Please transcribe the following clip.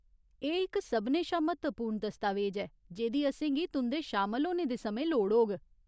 एह् इक सभनें शा म्हत्तवपूर्ण दस्तावेज ऐ जेह्दी असेंगी तुं'दे शामल होने दे समें लोड़ होग।